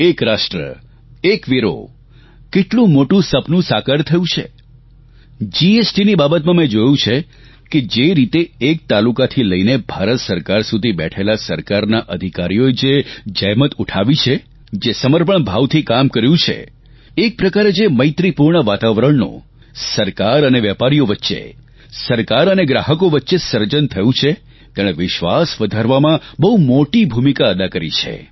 એક રાષ્ટ્ર એક વેરો કેટલું મોટું સપનું સાકાર થયું છે જીએસટીની બાબતમાં મેં જોયું છે કે જે રીતે એક તાલુકાથી લઇને ભારત સરકાર સુધી બેઠેલા સરકારના અધિકારીઓએ જે જહેમત ઉઠાવી છે જે સમર્પણ ભાવથી કામ કર્યું છે એક પ્રકારે જે મૈત્રીપૂર્ણ વાતાવરણનું સરકાર અને વેપારીઓ વચ્ચે સરકાર અને ગ્રાહકો વચ્ચે સર્જન થયું છે તેણે વિશ્વાસ વધારવામાં બહુ મોટી ભૂમિકા અદા કરી છે